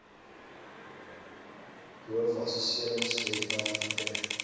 boov assesseringswebwerf verkry